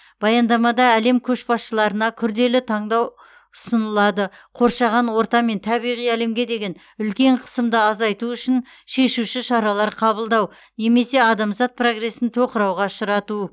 баяндамада әлем көшбасшыларына күрделі таңдау ұсынылады қоршаған орта мен табиғи әлемге деген үлкен қысымды азайту үшін шешуші шаралар қабылдау немесе адамзат прогресін тоқырауға ұшырату